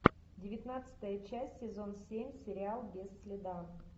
девятнадцатая часть сезон семь сериал без следа